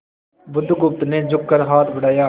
बुधगुप्त ने झुककर हाथ बढ़ाया